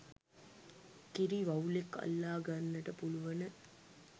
කිරි වවුලෙක් අල්ලා ගන්නට පුළුවන